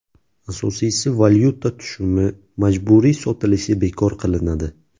Asosiysi valyuta tushumi majburiy sotilishi bekor qilinadi.